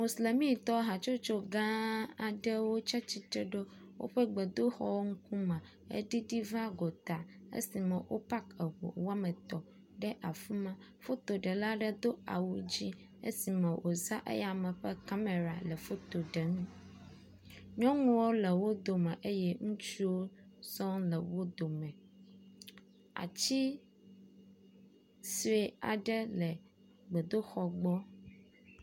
moslemi tɔ hatsotso gã aɖewo tsiatsitre ɖe wóƒe gbedoxɔ ŋkume eɖiɖí va gotá esime wo pak eʋuwɔmetɔ̃ ɖe afima fotoɖela aɖe do awu dzĩ esime wò zã eyama ƒe kamera le foto ɖem nyɔŋuwo le wódome eye ŋutsuwo sɔŋ le wódome atsi soe aɖe le gbedoxɔ gbɔ